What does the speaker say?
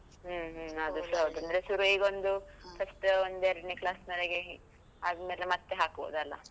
ಹ್ಮ್ ಹ್ಮ್, ಅದುಸ ಹೌದು, ಅಂದ್ರೆ ಶುರು ಈಗೊಂದು, first ಒಂದೆರಡ್ನೇ class ವರೆಗೆ ಆದ್ಮೇಲೆ ಮತ್ತೆ ಹಾಕ್ಬಹುದಲ್ಲ.